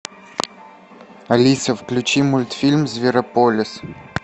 алиса включи мультфильм зверополис